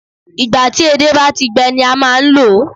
Ìgbà ti edé bá ti gbẹ ni a máa n lòó